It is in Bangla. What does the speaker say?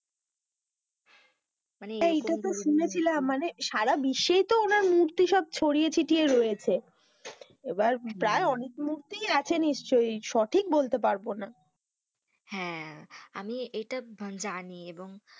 মানে মানে সারা বিশ্বে তো ওনার মূর্তি সব ছড়িয়ে ছিটিয়ে রয়েছে, এবার প্রায় অনেক মূর্তি আছে নিশ্চই, সঠিক বলতে পারবো না, হেঁ, আমি ইটা জানি এবং,